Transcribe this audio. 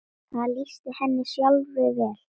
Það lýsti henni sjálfri vel.